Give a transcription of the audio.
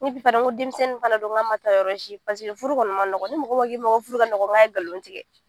fana n ko denmisɛnnin fana don n k'a ma taa yɔrɔ si furu kɔni man nɔgɔ ni mɔgɔ mɔgɔ ko furu ka nɔgɔ n k'a ye nkalon tigɛ